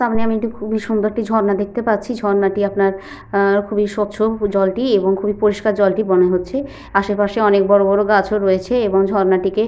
সামনে একটি খুবই সুন্দর একটি ঝর্ণা দেখতে পারছি। ঝর্ণাটি আপনার আ খুবই স্বচ্ছ জলটি এবং খুবই পরিষ্কার জলটি মনে হচ্ছে। আশেপাশে অনেক বড় বড় গাছও রয়েছে এবং ঝর্ণা টিকে --